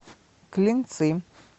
клинцы